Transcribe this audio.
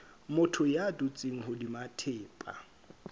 motho ya dutseng hodima thepa